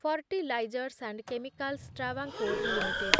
fertilizers and chemicals Travancore limited